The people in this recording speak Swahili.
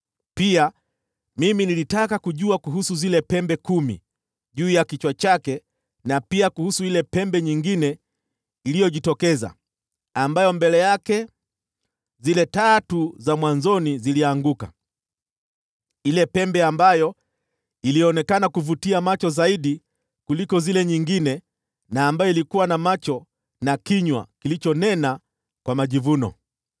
Pia mimi nilitaka kujua kuhusu zile pembe kumi juu ya kichwa chake, na pia kuhusu ile pembe nyingine iliyojitokeza, ambayo mbele yake zile tatu za mwanzoni zilianguka, ile pembe ambayo ilionekana kuvutia macho zaidi kuliko zile nyingine, na ambayo ilikuwa na macho na kinywa kilichonena kwa majivuno.